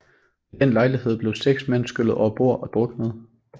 Ved den lejlighed blev seks mand skyllet overbord og druknede